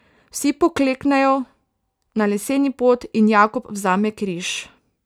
Vsi pokleknejo na leseni pod in Jakob vzame križ.